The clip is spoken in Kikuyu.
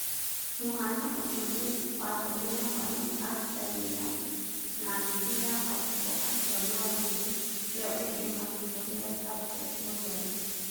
Mũhaano ũcio nĩ watũmire mwarimũ arute wĩra na nuthu ya arutwo acio nao nuthu ĩyo ĩngĩ makĩhũthĩra tablet gũthoma.